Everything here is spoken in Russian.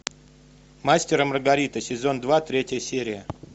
мастер и маргарита сезон два третья серия